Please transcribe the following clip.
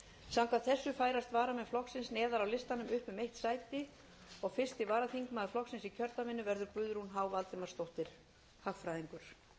samkvæmt þessu færast varamenn flokksins neðar á listanum upp um eitt sæti og fyrsti varaþingmaður flokksins